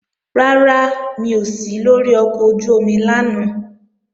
Rárá, mi ò sí lóri ọkọ̀ ojú-omi lánàá